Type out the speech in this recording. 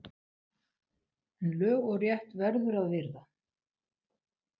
En lög og rétt verður að virða!